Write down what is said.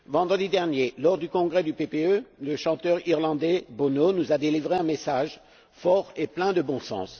Vendredi dernier, lors du congrès du PPE, le chanteur irlandais Bono nous a délivré un message fort et plein de bon sens.